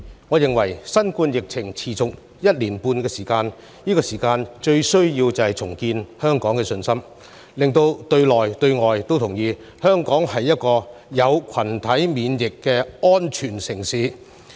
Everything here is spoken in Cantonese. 我認為新冠疫情持續一年半，目前香港最需要的是重建社會信心，讓境內、境外都同意，香港是達到群體免疫水平的安全城市。